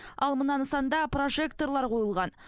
ал мына нысанда прожекторлар қойылған